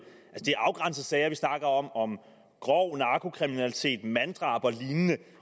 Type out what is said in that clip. de afgrænsede sager vi snakker om om grov narkokriminalitet manddrab og lignende